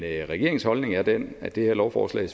regeringens holdning er den at det her lovforslag